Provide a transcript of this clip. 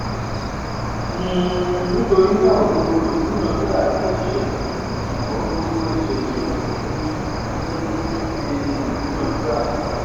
um nítorínà gbogbo ìdúnadúrà jẹ ìṣẹlẹ ṣùgbọn gbogbo ìṣẹlẹ um kíì um ṣe ìdúnadúrà